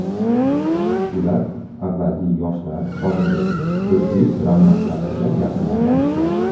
Ular avvalgi Yoshlar, hozirgi O‘zbek Drama teatrida yaqindan tanishgan.